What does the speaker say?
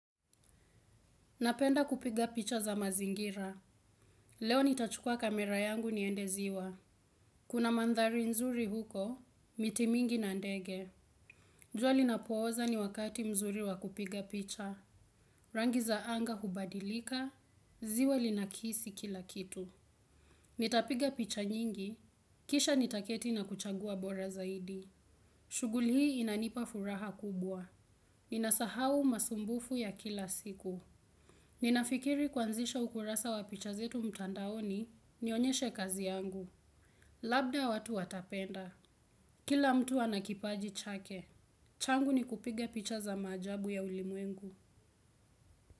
Napenda kupiga picha za mazingira. Leo nitachukua kamera yangu niende ziwa. Kuna mandhari nzuri huko, miti mingi na ndege. Jua linapooza ni wakati mzuri wa kupiga picha. Rangi za anga hubadilika, ziwa linakisi kila kitu. Nitapiga picha nyingi, kisha nitaketi na kuchagua bora zaidi. Shuguli hii inanipa furaha kubwa. Inasahau masumbufu ya kila siku. Ninafikiri kuanzisha ukurasa wa picha zetu mtandaoni nionyeshe kazi yangu. Labda watu watapenda. Kila mtu ana kipaji chake. Changu ni kupiga picha za maajabu ya ulimwengu.